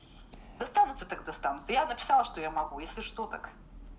достанутся так достанутся я написала что я могу если что так